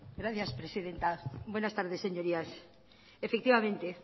gracias presidenta buenas tardes señorías efectivamente